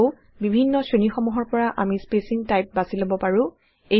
আকৌ বিভিন্ন শ্ৰেণীসমূহৰ পৰা আমি স্পেচিং টাইপ বাচি লব পাৰো